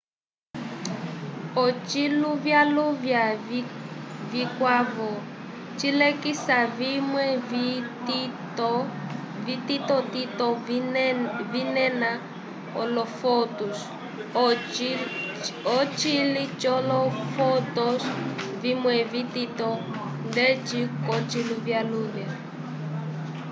ociluvyaluvya cikwavo cilekisa vimwe vititotito vinena olo fotons ocili colo fotons vimwe vitito ndeci ko ciluvyaluvya